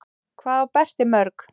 Hvað á Berti mörg?